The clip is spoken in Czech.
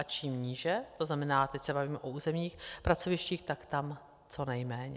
A čím níže, to znamená, teď se bavíme o územních pracovištích, tak tam co nejméně.